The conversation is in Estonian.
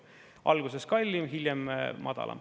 Alguses kallim, hiljem madalam.